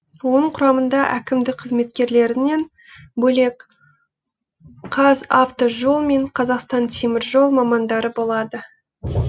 оның құрамында әкімдік қызметкерлерінен бөлек қазавтожол мен қазақстан теміржол мамандары болады